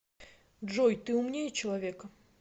джой ты умнее человека